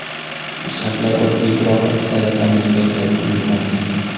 Shartlar oddiy, biroq aksariyat amerikaliklar uchun imkonsiz.